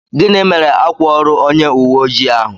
Gịnị mere ákwà órù onye uwé ojii ahụ?